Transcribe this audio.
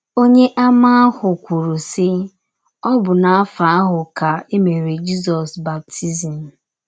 Ọnyeàmà ahụ kwụrụ, sị, “ Ọ bụ n’afọ ahụ ka e mere Jizọs baptizim. ”